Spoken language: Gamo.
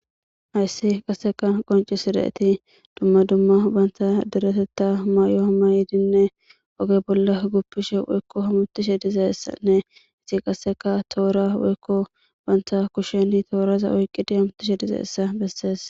hayssi qasseka qoncisi da7eti dumma dumma banta deretetta maay7o hama yiidinne oge bolla guppishe woykko hamutishe dizeessanne izi qasseka toora weykko banta kusheni tooraza oyqqidi hamutishe dizeessa bessees